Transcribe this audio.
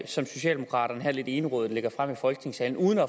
som socialdemokraterne lidt egenrådigt lægger frem her i folketingssalen uden at